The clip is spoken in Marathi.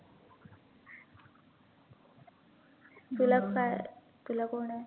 तुला काय तुला कोण आहे?